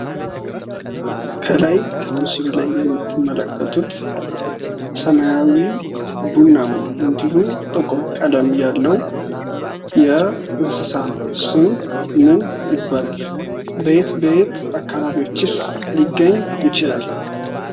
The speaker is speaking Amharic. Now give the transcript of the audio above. ከላይ ከምስሉ ላይ የምትመለከቱት ሰማያዊ፣ ቡናማ እንዲሁም ጥቁር ቀለም ያለው የእንስሳት ስም ምን ይባላል? በየት በየት አከባቢዎችሰ ሊገኝ ይችላል?